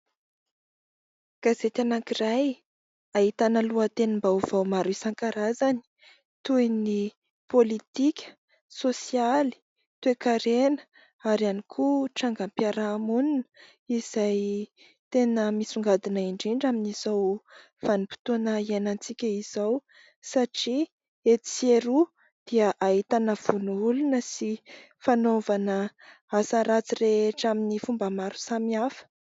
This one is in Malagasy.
Gazety anankiray ahitana lohatenim-baovao maro isan-karazany toy ny politika, sosialy, toe-karena ary ihany koa trangam-piarahamonina izay tena misongadina indrindra amin'izao vanim-potoana iainantsika izao satria etsy sy eroa dia ahitana vono olona sy fanaovana asa ratsy rehetra amin'ny fomba maro samihafa.